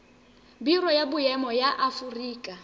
biro ya boemo ya aforika